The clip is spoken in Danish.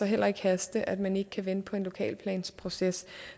heller ikke haste at man ikke kan vente på en lokalplansproces